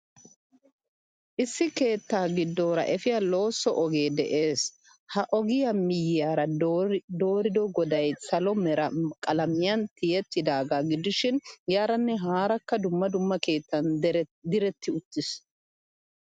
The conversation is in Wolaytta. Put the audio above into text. Issi keettaa giddora efiya loosso ogee de'ees. Ha ogiya miyiyara dorida goday salo Mera qalamiyan tiyettidaga gidishin yaaranne haarakka dumma dumma keettan diretti uttiis.